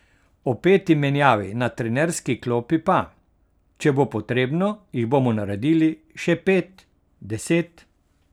O peti menjavi na trenerski klopi pa: 'Če bo potrebno, jih bomo naredili še pet, deset.